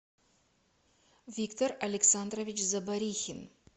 виктор александрович заборихин